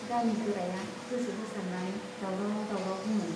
गामि गोराया गोसो होसारनानै दावराव दावराव बुङो।